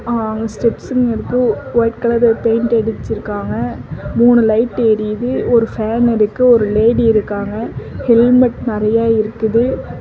அஅ ஸ்டெப்ஸ்ங்க இருக்கு white colour paint அடிச்சுருக்காங்க மூணு லைட் எரியுது ஒரு ஃபேன் இருக்கு ஒரு லேடி இருக்காங்க ஹெல்மெட் நறைய இருக்குது.